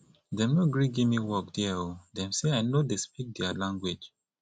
dem no gree give me work there o dem sey i no dey speak there language